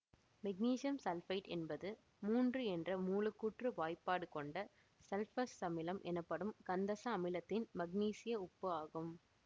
magnesium sulphite என்பது மூன்று என்ற மூலக்கூற்று வாய்ப்பாடு கொண்ட சல்பூரசமிலம் எனப்படும் கந்தச அமிலத்தின் மக்னீசியம் உப்பு ஆகும்